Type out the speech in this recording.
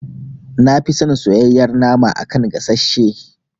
Nafi son soyayyar nama a kan gasashe.